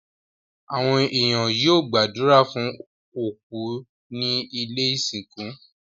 Àwon èèyàn yio gbàdùrà fun òkú ni ilẹ́ ìsìnkú